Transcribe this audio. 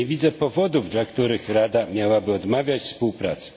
Bo ja nie widzę powodów, dla których Rada miałaby odmawiać współpracy.